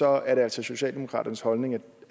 er det altså socialdemokratiets holdning at